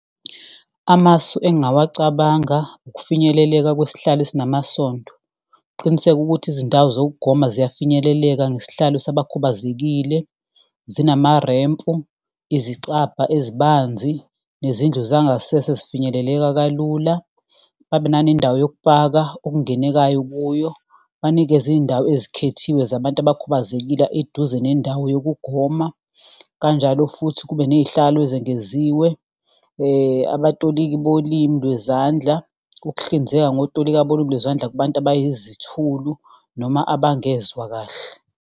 Amasu engawacabanga ukufinyeleleka kwesihlalo esinamasondo, ukuqiniseka ukuthi izindawo zokugoma ziyafinyeleleka ngesihlalo sabakhubazekile, zinamarempu, izicabha ezibanzi, nezindlu zangasese ezifinyeleleka kalula. Babe nanendawo yokupaka okungenekayo kuyo, banikeze iyindawo ezikhethiwe zabantu abakhubazekile eduze nendawo yokugoma kanjalo futhi kube neyihlalo ezengeziwe. Abatoliki bolimi lwezandla, ukuhlinzeka ngotolika bolimi lwezandla kubantu abayizithulu noma abangezwa kahle.